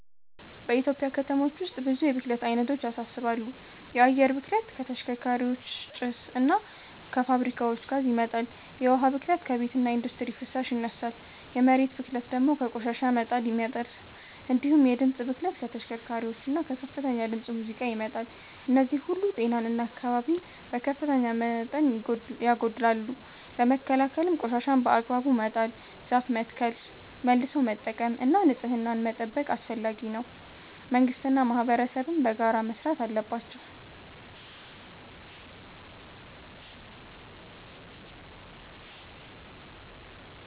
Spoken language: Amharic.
በኢትዮጵያ ከተሞች ውስጥ ብዙ የብክለት አይነቶች ያሳስባሉ። የአየር ብክለት ከተሽከርካሪዎች ጭስ እና ከፋብሪካዎች ጋዝ ይመጣል፤ የውሃ ብክለት ከቤትና ኢንዱስትሪ ፍሳሽ ይነሳል፤ የመሬት ብክለት ደግሞ ከቆሻሻ መጣል ይመጣል። እንዲሁም የድምፅ ብክለት ከተሽከርካሪዎችና ከከፍተኛ ድምፅ ሙዚቃ ይመጣል። እነዚህ ሁሉ ጤናን እና አካባቢን በከፍተኛ መጠን ያጎድላሉ። ለመከላከል ቆሻሻን በአግባቡ መጣል፣ ዛፍ መትከል፣ መልሶ መጠቀም እና ንጽህናን መጠበቅ አስፈላጊ ነው፤ መንግስትና ማህበረሰብም በጋራ መስራት አለባቸው።